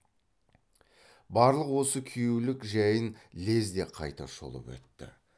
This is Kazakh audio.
барлық осы күйеулік жәйін лезде қайта шолып өтті